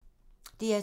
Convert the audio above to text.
DR2